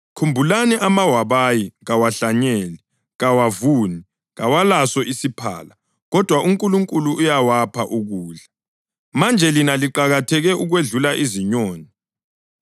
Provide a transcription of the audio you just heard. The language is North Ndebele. Khumbulani amawabayi, kawahlanyeli, kawavuni, kawalaso isiphala kodwa uNkulunkulu uyawapha ukudla. Manje lina liqakatheke okwedlula izinyoni!